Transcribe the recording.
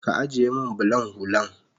Ka ajiye min bulan hullan